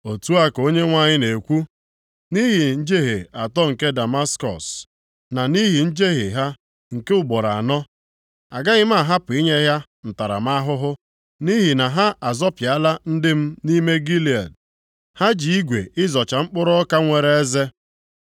Otu a ka Onyenwe anyị na-ekwu, “Nʼihi njehie atọ nke Damaskọs, na nʼihi njehie ha nke ugboro anọ, agaghị m ahapụ inye ya ntaramahụhụ. Nʼihi na ha azọpịala ndị m nʼime Gilead, ha ji igwe ịzọcha mkpụrụ ọka nwere eze.